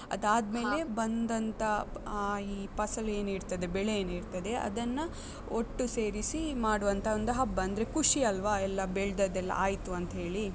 ಅದ್ ಆದ್ಮೇಲೆ ಬಂದಂತ ಈ ಪಸಲು ಏನ್ ಇರ್ತದೆ, ಬೆಳೆ ಏನ್ ಇರ್ತದೆ, ಅದನ್ನ ಒಟ್ಟು ಸೇರಿಸಿ ಮಾಡುವಂತಹ ಒಂದು ಹಬ್ಬ. ಅಂದ್ರೆ ಖುಷಿ ಅಲ್ವ, ಎಲ್ಲ ಬೆಳ್ದದ್ದ್ ಎಲ್ಲ ಆಯ್ತು ಅಂತ್‍ ಹೇಳಿ.